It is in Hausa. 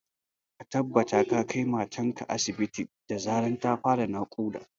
Ka tabbata ka kai matar ka asibit da zarar ta fara naƙuda